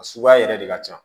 A suguya yɛrɛ de ka ca